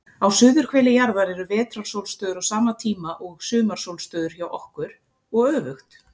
Á suðurhveli jarðar eru vetrarsólstöður á sama tíma og sumarsólstöður hjá okkur, og öfugt.